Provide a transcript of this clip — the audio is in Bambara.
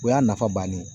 O y'a nafa bannen ye